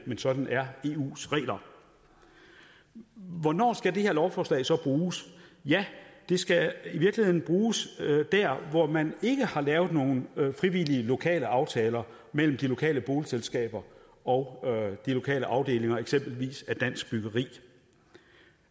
sådan er eus regler hvornår skal det her lovforslag så bruges ja det skal i virkeligheden bruges dér hvor man ikke har lavet nogen frivillige lokale aftaler mellem de lokale boligselskaber og de lokale afdelinger af eksempelvis dansk byggeri